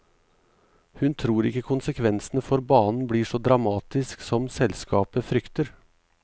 Hun tror ikke konsekvensene for banen blir så dramatisk som selskapet frykter.